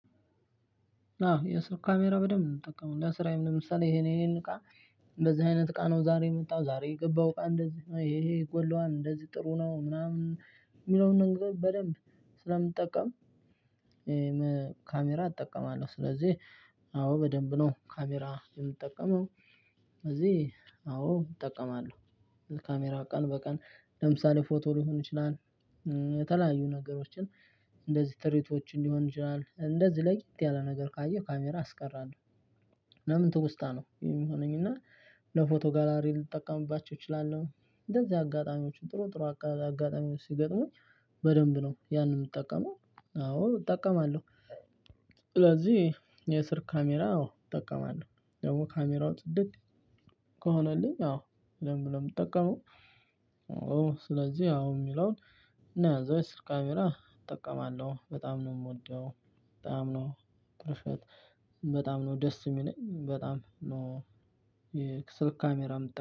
አዎ የስልክ ካሜራ በደንብ እምጠቀመው ለ ስራዬም ለምሳሌ ይሄን ይሄን እቃ እንደዚህ አይነት እቃ ነው ዛሬ የመጣው ዛሬ የገባው እቃ እንደዚህ ይሄ ይሄ ይጎለዋል እንደዚህ ጥሩ ነው ምናምን እሚለውን ነገር በደንብ ስለምጠቀም ካሜራ እጠቀማለሁ ስለዚህ አዎ በደንብ ነው ካሜራ የምጠቀመው። እዚህ አዎ እጠቀማለሁ ካሜራ ቀን በቀን ለምሳሌ ፎቶ ሊሆን ይችላል የተለያዩ ነገሮችን እንደዚህ ትርኢቶች እንዲሆን ይችላል እንደዚህ ለየት ያለ ነገር ካየሁ ካሜራ አስቀራለሁ። ለምን ትውስታ ነው የሚሆነኝ እና ለፎቶ ጋላሪ ልጠቀምባቸው እችላለሁ። እንደዚህ አጋጣሚዎችን ጥሩ ጥሩ አጋጣሚዎች ሲገጥሙኝ በደንብ ነው ያንን እምጠቀመው አዎ እጠቀማለሁ። ስለዚህ የእስር ካሜራ አዎ እጠቀማለሁ ደሞ ካሜራው ጽድት ከሆነልኝ አዎ ለምን በደንብ እምጠቀመው። አዎ ስለዚህ አሁን እሚለውን እና እዛው ካሜራ እጠቀማለሁ በጣም ነው እምወደው። በጣም ነው በጣም ነው ደስ እሚለኝ በጣም ነው። የስልክ ካሜራ እምጠቀም